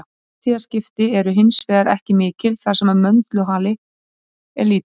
Árstíðaskipti eru hins vegar ekki mikil þar sem möndulhalli er lítill.